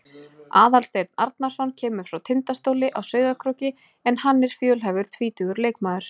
Aðalsteinn Arnarson kemur frá Tindastóli á Sauðárkróki en hann er fjölhæfur tvítugur leikmaður.